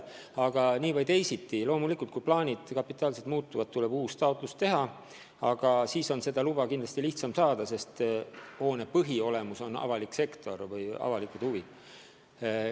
Aga nii või teisiti, loomulikult, kui plaanid kapitaalselt muutuvad, tuleb uus taotlus teha, aga siis on seda luba kindlasti lihtsam saada, sest hoone on põhiolemuselt seotud avaliku sektori või avalike huvidega.